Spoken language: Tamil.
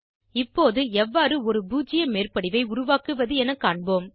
இப்போது எவ்வாறு ஒரு பூஜ்ஜிய மேற்படிவை உருவாக்குவது என காண்போம்